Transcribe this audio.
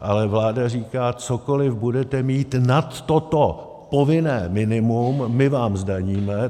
Ale vláda říká: cokoliv budete mít nad toto povinné minimum, my vám zdaníme.